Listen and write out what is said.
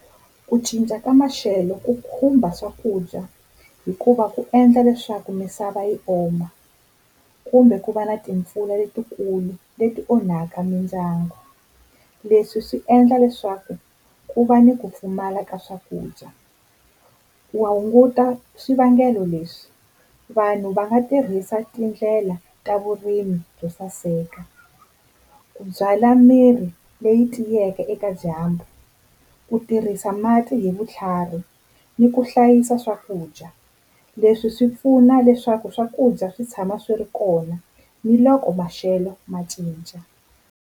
Ku cinca ka maxelo ku khumba swakudya hikuva ku endla leswaku misava yi oma, kumbe ku va na timpfula letikulu leti onhaka mindyangu. Leswi swi endla leswaku ku va ni ku pfumala ka swakudya. Wa hunguta swivangelo leswi vanhu va nga tirhisa tindlela ta vurimi byo saseka, ku byala mirhi leyi tiyeke eka dyambu, ku tirhisa mati hi vutlhari ni ku hlayisa swakudya. Leswi swi pfuna leswaku swakudya swi tshama swi ri kona ni loko maxelo ma cinca.